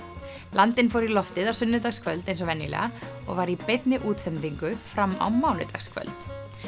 landinn fór í loftið á sunnudagskvöld eins og venjulega og var í beinni útsendingu fram á mánudagskvöld